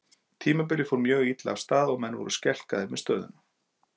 Tímabilið fór mjög illa af stað og menn voru skelkaðir með stöðuna.